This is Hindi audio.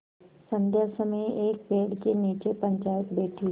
संध्या समय एक पेड़ के नीचे पंचायत बैठी